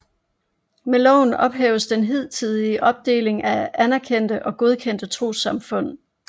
Med loven ophæves den hidtidige opdeling mellem anerkendte og godkendte trossamfund